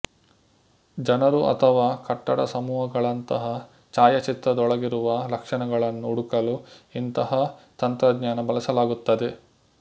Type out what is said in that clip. ಜನರು ಅಥವಾ ಕಟ್ಟಡಸಮೂಹಗಳಂತಹ ಛಾಯಾಚಿತ್ರದೊಳಗಿರುವ ಲಕ್ಷಣಗಳನ್ನು ಹುಡುಕಲು ಇಂತಹ ತಂತ್ರಜ್ಞಾನ ಬಳಸಲಾಗುತ್ತದೆ